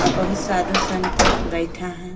आ बहुत साधु संत बइठा है।